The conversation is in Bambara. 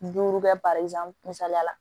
Duuru kɛ misaliya la